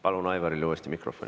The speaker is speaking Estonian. Palun Aivarile uuesti mikrofon.